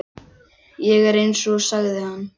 Ég er eins, sagði hann.